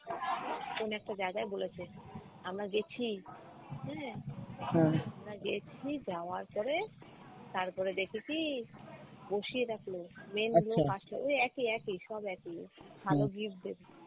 কোন একটা জাগায় বলেছে আমরা গেছি হ্যাঁ আমরা গেছি যাওয়ার পরে তারপরে দেখি কী বসিয়ে রাখল main ওই একই একই সব একই ভাল gift দেবে